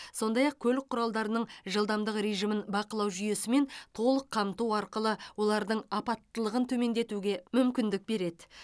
сондай ақ көлік құралдарының жылдамдық режимін бақылау жүйесімен толық қамту арқылы олардың апаттылығын төмендетуге мүмкіндік береді